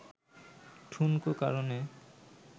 ঠুনকো কারণে